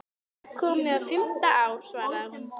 Það er komið á fimmta ár, svaraði hún.